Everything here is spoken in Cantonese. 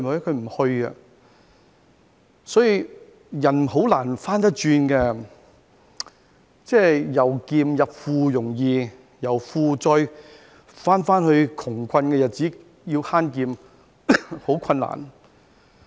所以，人是很難走回頭路的，由儉入富易，但由富貴回到窮困日子，要慳儉則十分困難。